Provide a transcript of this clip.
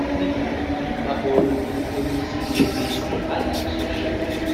Peter Obi akpọọla okwu onye isi APC Adams Oshiomole